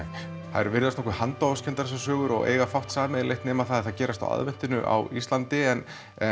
þær virðast nokkuð handahófskenndar þessar sögur og eiga fátt sameiginlegt nema að þær gerast á aðventunni á Íslandi en